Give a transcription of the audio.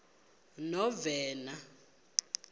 novena